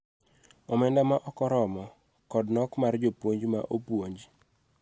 omenda ma ok oromo, kod nok mar jopuonj ma opuonj,